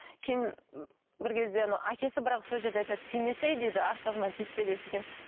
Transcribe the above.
кейін бір кезде анау әкесі бірақ сол жерде айтады тимесей дейді ақшасына тиіспе деп сөйткен